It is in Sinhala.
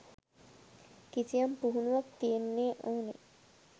කිසියම් පුහුණුවක් තියෙන්න ඕනෙ.